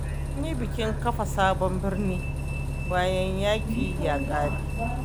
An yi bikin kafa sabon birni, bayan yaƙi ya ƙare.